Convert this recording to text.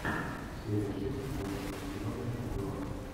серия шесть тринадцатого сезона чемпионов